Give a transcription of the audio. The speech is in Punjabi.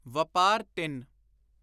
ਵਪਾਰ-3